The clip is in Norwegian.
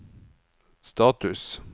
status